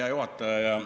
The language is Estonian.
Hea juhataja!